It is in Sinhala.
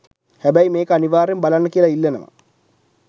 හැබයි මේක අනිවාර්යයෙන් බලන්න කියලා ඉල්ලනවා.